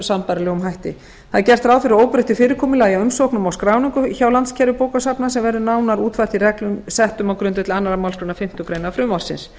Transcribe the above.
sambærilegum hætti það er gert ráð fyrir óbreyttu fyrirkomulagi umsóknum og skráningu hjá landskerfi bókasafna sem verður nánar útfært í reglum settum á grundvelli annarrar málsgreinar fimmtu grein frumvarpsins